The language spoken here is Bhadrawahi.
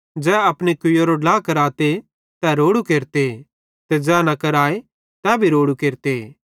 ज़ै अपनी कुवैरारो ड्ला कराते तै रोड़ू केरते ते ज़ै न कराए तै भी रोड़ू केरते